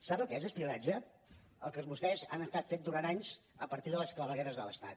sap el que és espionatge el que vostès han estat fent durant anys a partir de les clavegueres de l’estat